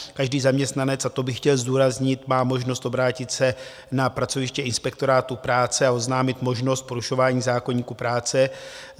Každý zaměstnanec, a to bych chtěl zdůraznit, má možnost obrátit se na pracoviště Inspektorátu práce a oznámit možnost porušování zákoníku práce.